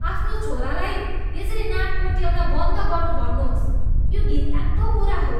आफ्नो छोरालाई यसरी नाक कोट्याउन बन्द गर्नू भन्नुहोस्। यो घिनलाग्दो कुरा हो।